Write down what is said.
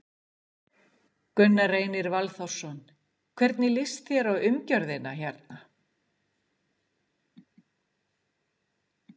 Gunnar Reynir Valþórsson: Hvernig líst þér á umgjörðina hérna?